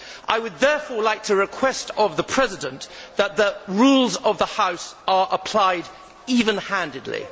I would therefore like to request of the President that the rules of the House are applied even handedly.